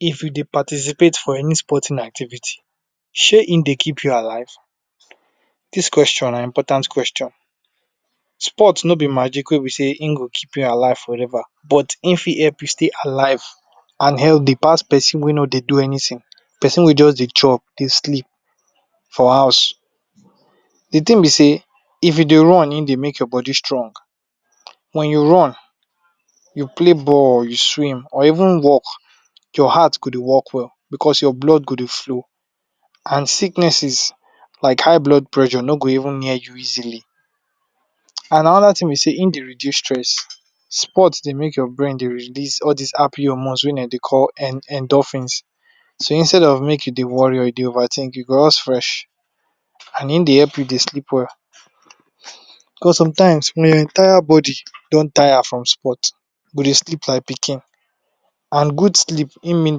If u Dey participate for any sporting activity Shey e Dey keep u alive? Dis question na important question, sport no b magic wey go keep alive for ever and ever, but e fit keep u alive pass anybody wey no Dey do anything, persin wey just Dey chop Dey sleep for house, d thing b sey, if u dey run, hin dey make your body strong, wen u run u play ball, u swim or even walk, your heart go dey beat well, because your blood go dey flow, and sicknesses like high blood pressure no go even near you easily and anoda thing b Dey hin dey reduce stress, sport su make your brain dey release all dis happy hormones wey dem dey call endorphins, so instead make u dey worry I go just dey happy and dey fresh and hin dey help u dey sleep well because sometimes wen entire body don tire from sport u go dey sleep like baby, and good sleep hin mean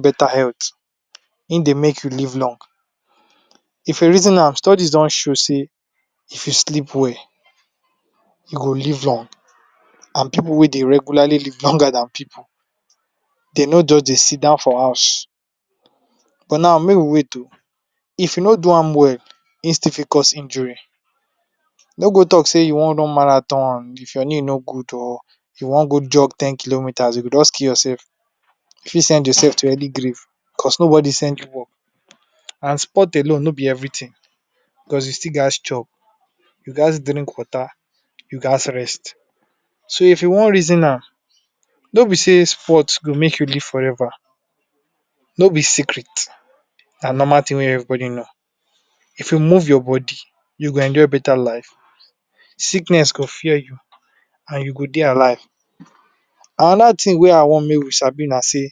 beta health, hin dey make u live long, if u reason an study do show sey if u sleep well u go live long and pipu wey dey rest go live longer Dan pipu dem no jus dey Sidon for house. But now make we wait oh, if u no do am well hin still fit cause injury, no go talk sey u wan run marathon if your knee no to good, or u wan jug ten kilometers u go jus kill your self, u fit send your self to early grave, cause no body send u work, and sport alone no b every thing cause u still gaz chop, u gaz drink water, u gaz rest, so if I wan reason am no b Dey sport go make u live forever, no b secret na normal thing wey everybody know, if u move your body u go enjoy beta life sickness go fear u and u go Dey alive, anoda thing wey I wan make we sabi na sey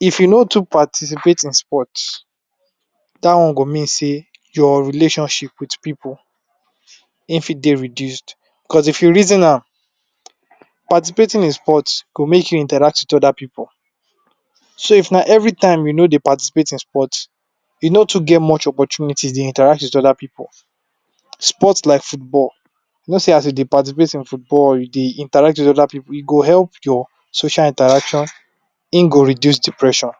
if u no too participate with sport, dat one go mean sey your relationship with pipu hin fit dey reduced because if u reason am, participating in sport hin for make u meet oda pipu, so if na every time u no dey participate in sport, u no too get much opportunities dey interact with oda pipu, sport like football, u know sey as u dey participate in football u dey interact with oda pipu, e dey help your social interaction hin go reduce depression.